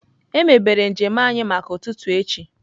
Emebere njem anyị maka ụtụtụ echi.